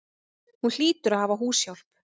Hún hlýtur að hafa húshjálp.